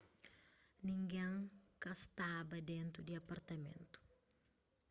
ningén ka staba dentu di apartamentu